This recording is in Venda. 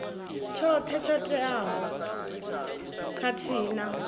tshoṱhe tsho teaho khathihi na